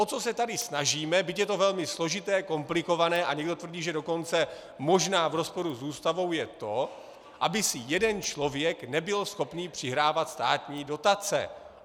O co se tady snažíme, byť je to velmi složité, komplikované a někdo tvrdí, že dokonce možná v rozporu s Ústavou, je to, aby si jeden člověk nebyl schopen přihrávat státní dotace.